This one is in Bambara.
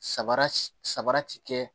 Sabara saba ti kɛ